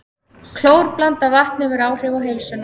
Klórblandað vatn hefur áhrif á heilsuna